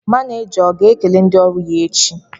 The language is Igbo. Maneja ọ ga-ekele ndị ọrụ ya echi?